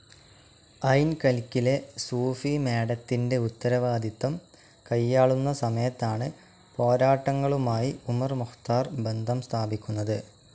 ഐൻ കൽക്കിലെ സൂഫി മാഡത്തിൻ്റെ ഉത്തരവാദിത്തം കൈയാളുന്ന സമയത്താണ് പോരാട്ടങ്ങളുമായി ഉമർ മുഖ്താർ ബന്ധം സ്ഥാപിക്കുന്നത്.